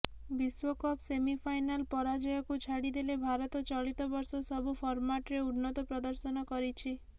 ବିଶ୍ୱକପ୍ ସେମିଫାଇନାଲ୍ ପରାଜୟକୁ ଛାଡ଼ି ଦେଲେ ଭାରତ ଚଳିତ ବର୍ଷ ସବୁ ଫର୍ମାଟରେ ଉନ୍ନତ ପ୍ରଦର୍ଶନ କରିଛି